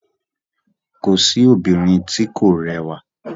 Kò sí obìnrin tí kò rẹwà